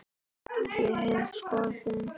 Ég hef skoðun.